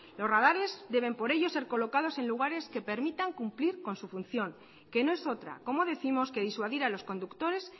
los radares deben por ello ser colocados en lugares que permitan cumplir con su función que no es otra como décimos que disuadir a los conductores